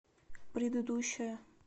предыдущая